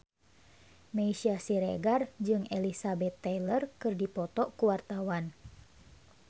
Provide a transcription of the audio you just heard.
Meisya Siregar jeung Elizabeth Taylor keur dipoto ku wartawan